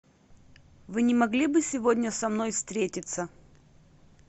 вы не могли бы сегодня со мной встретиться